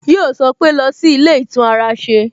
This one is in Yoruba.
Yọ sọ pé "lọ sí ilé ìtún ara ṣe"